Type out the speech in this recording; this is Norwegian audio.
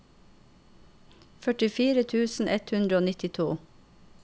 førtifire tusen ett hundre og nittito